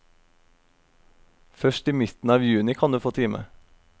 Først i midten av juni kan du få time.